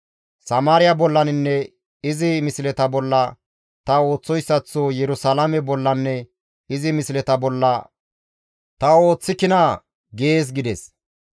Samaariya bollaninne izi misleta bolla ta ooththoyssaththo Yerusalaame bollanne izi misleta bolla ta ooththikinaa?› gees» gides.